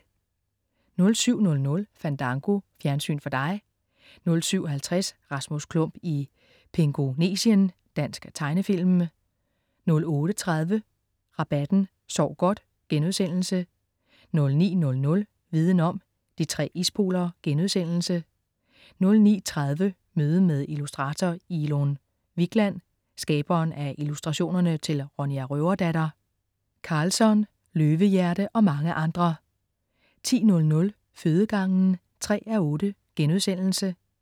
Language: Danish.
07.00 Fandango. Fjernsyn for dig 07.50 Rasmus Klump i Pingonesien. Dansk tegnefilm 08.30 Rabatten. Sov godt!* 09.00 Viden om: De tre ispoler* 09.30 Møde med Illustrator Ilon Wikland. skaberen af illustrationerne til Ronja Røverdatter, Karlsson, Løvehjerte og mange andre 10.00 Fødegangen 3:8*